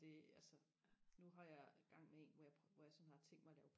det altså nu har jeg gang med en hvor jeg hvor jeg sådan har tænkt mig og lave